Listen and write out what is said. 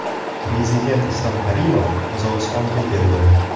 Prezident Islom Karimov Qozog‘istonga keldi.